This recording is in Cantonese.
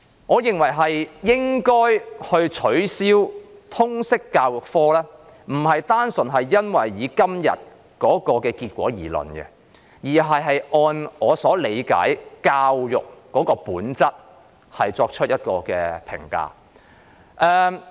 我認為應該取消通識科，並非單純基於今天的結果，而是基於我對教育的本質的理解。